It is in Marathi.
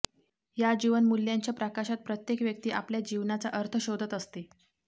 या जीवनमूल्यांच्या प्रकाशात प्रत्येक व्यक्ती आपल्या जीवनाचा अर्थ शोधत असते